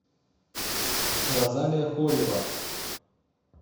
розалия хорева